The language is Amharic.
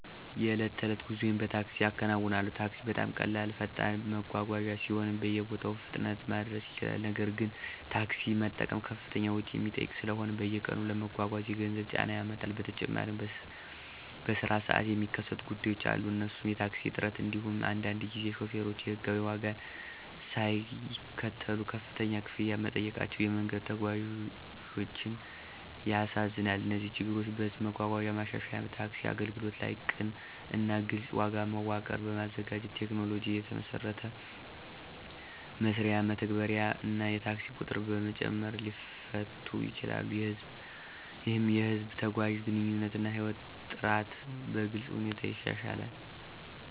የዕለት ተዕለት ጉዞዬን በታክሲ እከናዉናለሁ። ታክሲ በጣም ቀላል እና ፈጣን መጓጓዣ ሲሆን በየቦታው በፍጥነት ማድረስ ይችላል። ነገር ግን፣ ታክሲ መጠቀም ከፍተኛ ወጪ የሚጠይቅ ስለሆነ በየቀኑ ለመጓጓዝ የገንዘብ ጫና ያመጣል። በተጨማሪም በስራ ሰዓት የሚከሰቱ ጉዳዮች አሉ እነሱም የታክሲ እጥረት እንዲሁም አንዳንድ ጊዜ ሾፌሮች የሕጋዊ ዋጋን ሳይከተሉ ከፍተኛ ክፍያ መጠየቃቸው የመንገድ ተጓዞችን ያሳዝናል። እነዚህ ችግሮች በህዝብ መጓጓዣ ማሻሻል፣ ታክሲ አገልግሎት ላይ ቅን እና ግልፅ ዋጋ መዋቀር በማዘጋጀት፣ ቴክኖሎጂን የተመሰረተ መስሪያ መተግበር እና የታክሲ ቁጥር በመጨመር ሊፈቱ ይችላሉ። ይህም የህዝብ ተጓዦችን ግንኙነት እና ህይወት ጥራት በግልጽ ሁኔታ ያሻሽላል።